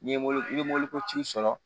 N'i ye i bɛ moto sɔrɔ